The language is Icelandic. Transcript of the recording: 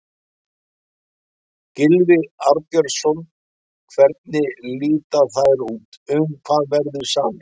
Gylfi Arnbjörnsson, hvernig líta þær út, um hvað verður samið?